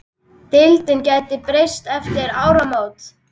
Deildin gæti breyst eftir áramót.